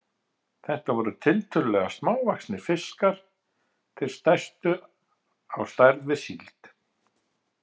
Þetta voru tiltölulega smávaxnir fiskar, þeir stærstu á stærð við síld.